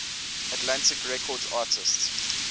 atlantic records artists